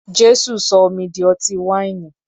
Jésù sọ omi di ọtí wáìnì.